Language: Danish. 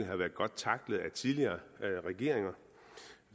har været godt tacklet af tidligere regeringer